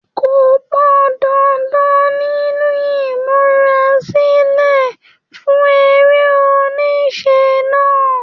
Kópa dáadáa nínú ìmúrasílẹ̀ fún eré-oníṣe náà.